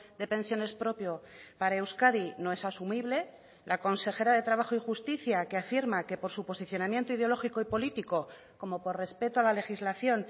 de pensiones propio para euskadi no es asumible la consejera de trabajo y justicia que afirma que por su posicionamiento ideológico y político como por respeto a la legislación